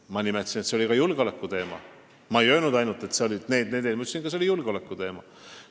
Ma ei öelnud, et seal olid ainult need ja need punktid, vaid nimetasin ka julgeolekuteemat.